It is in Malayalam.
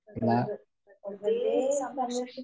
പ്രകൃ പ്രകൃതിയെ സംരക്ഷിക്കുക